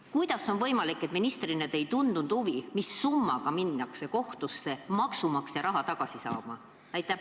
Kuidas on võimalik, et te ministrina ei tundnud huvi, mis summa pärast minnakse kohtusse maksumaksja raha tagasi saama?